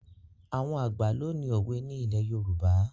Àwọn àgbà ló ní òwe ni ilẹ̀ Yorùbá.